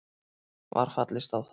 Var fallist á það